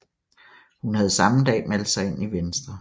Hun havde samme dag meldt sig ind i Venstre